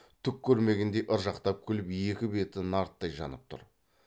түк көрмегендей ыржақтап күліп екі беті нарттай жанып тұр